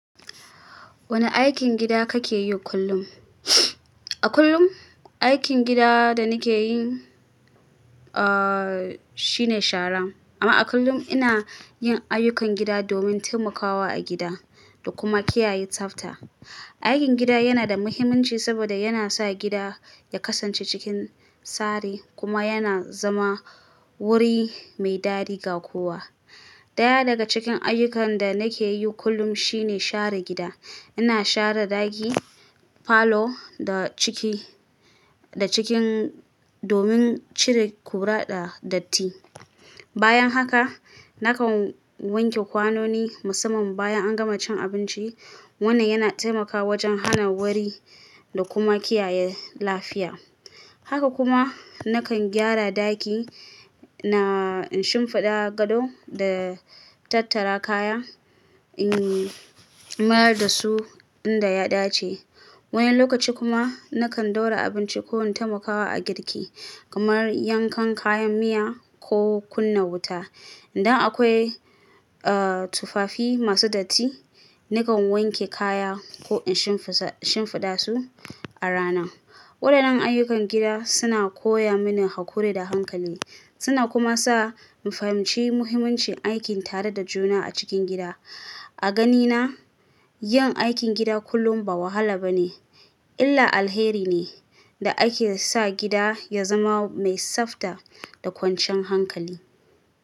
Wane aikin gida kake yi kullum? A kullum, aikin gida da nake yi, uhhh, shine shara. Amma a kullum ina yin ayyukan gida domin taimakawa a gida da kuma kiyaye tsafta. Aikin gida yana da muhimmanci saboda yana sa gida ya kasance cikin tsari kuma yana zama wuri mai dadi ga kowa. Daya daga cikin ayyukan da nake yi kullum shine share gida. Ina share ɗaki, falo da ciki-- da cikin domin cire ƙura da datti. Bayan haka nakan wanke kwanoni musamman bayan an gama cin abinci. Wannan yana taimakawa wajen hana wari da kuma kiyaye lafiya. Haka kuma nakan gyara ɗaki, na shimfiɗa gado da tattara kaya, in, mayar da su inda ya dace. Wani lokaci kuma nakan ɗaura abinci ko taimakawa a girki kamar yankan kayan miya ko kunna wuta. Idan akwai, uh, tufafi masu datti, nakan wanke kaya ko in shimfisa-- shimfiɗa su a rana. Waɗannan ayyukan gida suna koya mini haƙuri da hankali. Suna kuma sa in fahimci muhimmancin aikin tare da juna a cikin gida. A ganina, yin aikin gida kullum ba wahala ba ne illah alheri ne da ake sa gida ya zama mai tsafta da kwanciyan hankali.